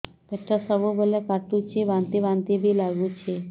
ପେଟ ସବୁବେଳେ କାଟୁଚି ବାନ୍ତି ବାନ୍ତି ବି ଲାଗୁଛି